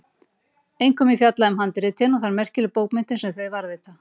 Einkum er fjallað um handritin og þær merkilegu bókmenntir sem þau varðveita.